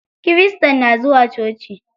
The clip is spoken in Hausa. Kirista na zuwa coci.